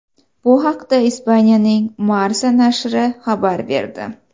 Bu haqda Ispaniyaning Marca nashri xabar berdi.